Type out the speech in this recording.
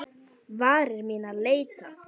Varir mínar leita.